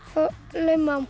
laumaði hún